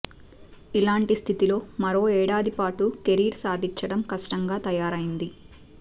ఇలాంటి స్థితిలో మరో ఏడాది పాటు కెరీర్ సాధించడం కష్టంగా తయారైంది